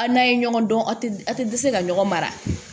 A n'a ye ɲɔgɔn dɔn a tɛ a tɛ dɛsɛ ka ɲɔgɔn mara